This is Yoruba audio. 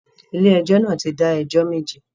Ilé ẹjọ́ náà ti dá ẹjọ́ méje